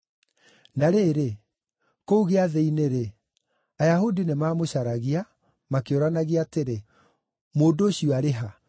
Na rĩrĩ, kũu Gĩathĩ-inĩ-rĩ, Ayahudi nĩmamũcaragia, makĩũranagia atĩrĩ, “Mũndũ ũcio arĩ ha?”